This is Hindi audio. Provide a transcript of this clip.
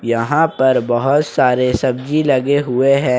यहां पर बहुत सारे सब्जी लगे हुए हैं।